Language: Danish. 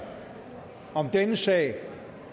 om denne sag